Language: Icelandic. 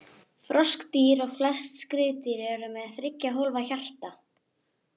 Froskdýr og flest skriðdýr eru með þriggja hólfa hjarta.